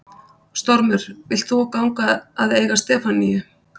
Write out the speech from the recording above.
Stormur, vilt þú ganga að eiga Stefaníu?